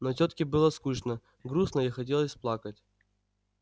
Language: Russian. но тётке было скучно грустно и хотелось плакать